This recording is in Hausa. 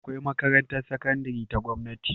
Akwai makarantar sakandari ta gamnati